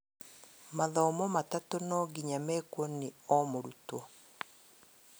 Mathomo matatu nonginya mekwo nĩ o murutwo